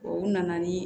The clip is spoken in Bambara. O nana ni